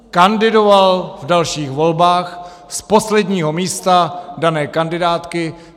Kandidoval v dalších volbách z posledního místa dané kandidátky.